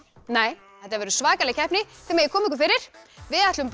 nei þetta verður svakaleg keppni þið megið koma ykkur fyrir við ætlum